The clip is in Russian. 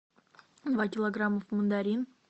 два килограмма мандарин